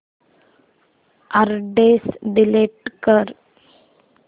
address delete कर